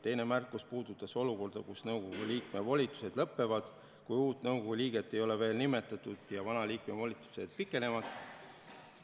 Teine märkus puudutas olukorda, kus nõukogu liikme volitused lõpevad, kuid uut nõukogu liiget ei ole veel nimetatud ja vana liikme volitused pikenevad.